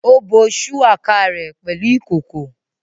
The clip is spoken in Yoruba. Ó bo shuwaka rẹ̀ pẹ̀lú ìkòkò